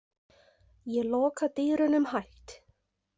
Ég loka dyrunum hægt.